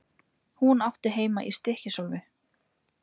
Hún átti heima í Stykkishólmi.